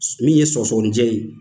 Min ye sɔgɔsɔgɔnijɛ ye